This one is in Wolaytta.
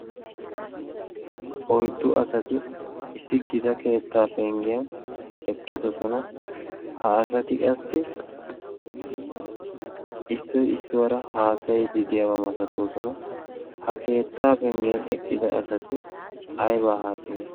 Oyiddu asati issi gita keettaa penggen eqqidosona. Ha asati qassi issoy issuwara haasayiiddi diyaba masatoosona. Ha keettaa penggen eqqida asati ayibaa haasayiyoonaa?